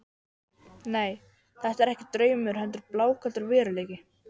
Nei, þetta er ekki draumur heldur blákaldur veruleiki.